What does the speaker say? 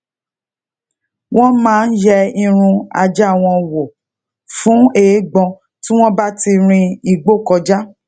won maa n ye irun aja won wo fun eegbon ti won ba ti rin igbo koja